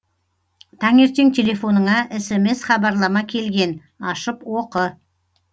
таңертең телефоныңа смс хабарлама келген ашып оқы